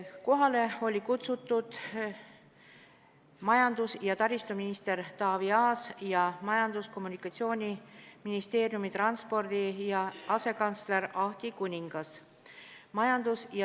Kohale olid kutsutud ka majandus- ja taristuminister Taavi Aas ning Majandus- ja Kommunikatsiooniministeeriumi transpordi asekantsler Ahti Kuningas.